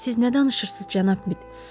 Siz nə danışırsınız, cənab Mit?